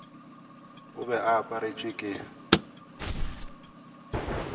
o be a aparetšwe ke